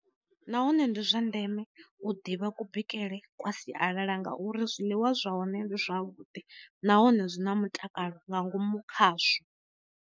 Nahone ndi zwa ndeme u ḓivha ku bikele kwa sialala ngauri zwiḽiwa zwa hone ndi zwavhuḓi nahone zwi na mutakalo nga ngomu khazwo.